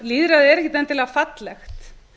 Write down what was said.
lýðræðið er ekkert endilega fallegt